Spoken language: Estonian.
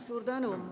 Suur tänu!